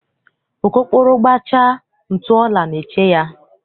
Okokporo gbachaa, ntụ ọla na-eche ya.